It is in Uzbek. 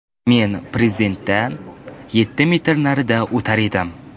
Men Prezidentdan yetti metr narida o‘tirar edim.